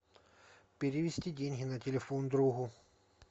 перевести деньги на телефон другу